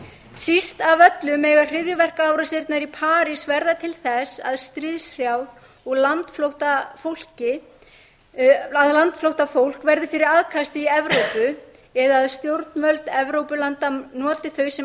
síst af öllu mega hryðjuverkaárásirnar í parís verða til þess að stríðshrjáð og landflótta fólk verði fyrir aðkasti í evrópu eða að stjórnvöld evrópulanda noti þau sem